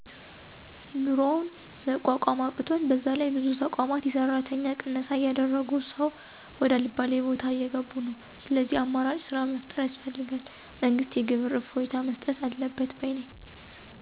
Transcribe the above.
ኑሮን መቋቋም አቅቶን በዛላይ ብዙ ተቋማት የሠራተኛ ቅነሳ እያደረጉ ሰው ወደ አልባሌ ቦታ እየገቡ ነው። ስለዚህ አማራጭ ስራ መፍጠር ያስፈልጋል። መንግስት የግብር እፎይታ መስጠት አለበት ባይ ነኝ።